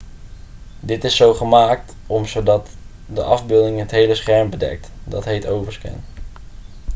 dit is zo gemaakt om zodat de afbeelding het hele scherm bedekt dat heet overscan